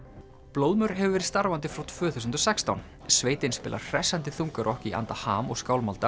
blóðmör hefur verið starfandi frá tvö þúsund og sextán sveitin spilar hressandi þungarokk í anda ham og